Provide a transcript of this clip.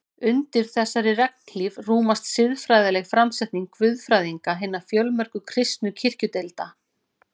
Undir þessari regnhlíf rúmast siðfræðileg framsetning guðfræðinga hinna fjölmörgu kristnu kirkjudeilda.